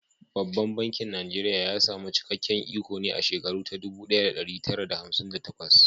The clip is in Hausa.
Babban bankin Najeriya ya samu cikakken iko ne a shekara ta dubu ɗaya da ɗari tara da hamsin da takwas.